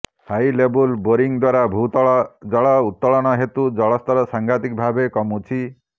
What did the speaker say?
ହାଇଲେବୁଲ୍ boring ଦ୍ବାରା ଭୂତଳ ଜଳ ଉତ୍ତୋଳନ ହେତୁ ଜଳସ୍ତର ସଂଘାତିକ ଭାବେ କମୁଛି